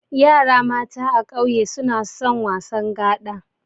Yara mata a kauye suna wasan gaɗa.